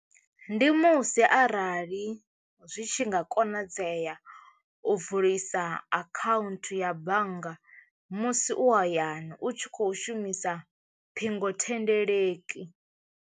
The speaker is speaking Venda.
Ndi musi arali zwi tshi nga konadzea u vulisa akhaunthu ya bannga musi u hayani u tshi kho shumisa ṱhingothendeleki.